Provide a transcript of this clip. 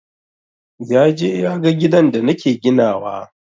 Yaje yaga gidan da nake ginawa.